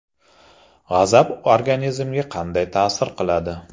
G‘azab organizmga qanday ta’sir qiladi?.